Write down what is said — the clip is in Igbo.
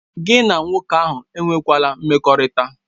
Gị na nwoke ahụ enwela mmekọrịta!